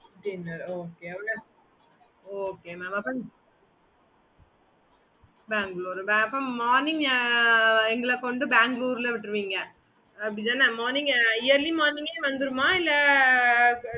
okay mam